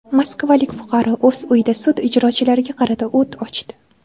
Moskvalik fuqaro o‘z uyida sud ijrochilariga qarata o‘t ochdi.